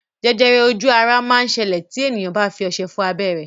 Jẹjẹrẹ ojú ara máa ń ṣẹlẹ̀ tí èèyàn bá fi ọṣẹ fọ abẹ́ rẹ̀